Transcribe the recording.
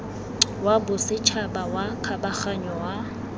wa bosetšhaba wa kgabaganyo wa